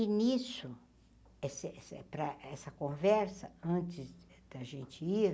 E nisso, essa essa é para essa conversa, antes da gente ir,